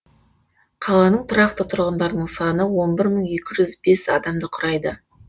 қаланың тұрақты тұрғындарының саны он бір мың екі жүз бес адамды құрайды